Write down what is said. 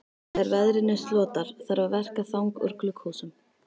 Þegar veðrinu slotar þarf að verka þang úr glugghúsum.